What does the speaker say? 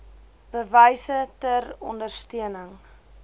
bewyse ter ondersteuning